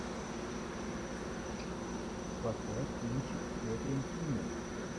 поставь кинчик с кэтрин кинер